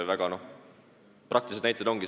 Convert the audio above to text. Praktilised näited.